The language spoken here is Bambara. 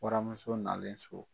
Bɔramuso nalen so